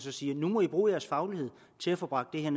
og siger nu må i bruge jeres faglighed til at få bragt det her